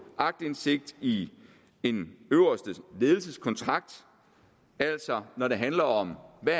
aktindsigt i en øverste ledelses kontrakt altså når det handler om hvad